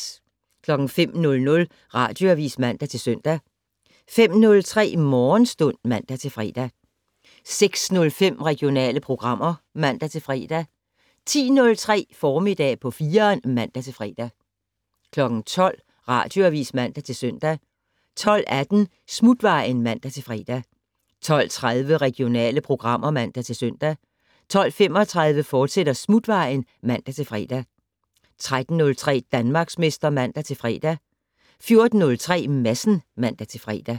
05:00: Radioavis (man-søn) 05:03: Morgenstund (man-fre) 06:05: Regionale programmer (man-fre) 10:03: Formiddag på 4'eren (man-fre) 12:00: Radioavis (man-søn) 12:18: Smutvejen (man-fre) 12:30: Regionale programmer (man-søn) 12:35: Smutvejen, fortsat (man-fre) 13:03: Danmarksmester (man-fre) 14:03: Madsen (man-fre)